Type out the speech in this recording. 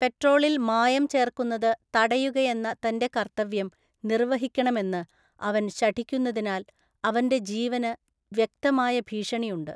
പെട്രോളിൽ മായം ചേർക്കുന്നത് തടയുകയെന്ന തന്‍റെ കർത്തവ്യം നിർവ്വഹിക്കണമെന്ന് അവൻ ശഠിക്കുന്നതിനാൽ അവന്‍റെ ജീവന് വ്യക്തമായ ഭീഷണിയുണ്ട്.